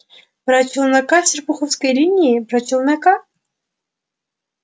про челнока с серпуховской линии про челнока